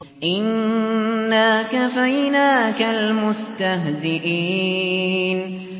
إِنَّا كَفَيْنَاكَ الْمُسْتَهْزِئِينَ